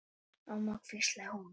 Amma, hvíslaði hún.